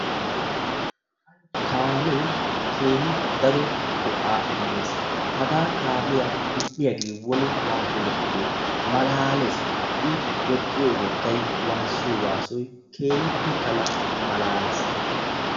Kaame keehi daro go"a immees, haga kaamiya medhdhiyaage woni waatti medhdhide malalees. I woxxiyo wottay waassiyo waassoy keehippe tana malalees.